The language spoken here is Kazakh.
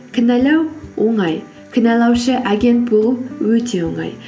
кінәлау оңай кінәлаушы агент болу өте оңай